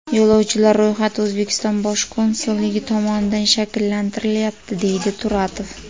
Yo‘lovchilar ro‘yxati O‘zbekiston bosh konsulligi tomonidan shakllantirilyapti”, deydi Turatov.